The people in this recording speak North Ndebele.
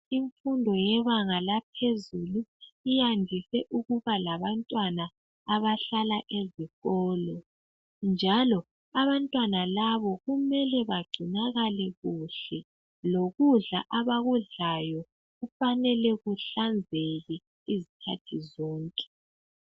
Imfundo yebanga laphezulu iyandise ukuba labantwana abahlala ezikolo. Njalo abantwana labo kumele bagcinakale kuhle, lokudla abakudlayo kufanele kuhlanzeke izikhathi zonke.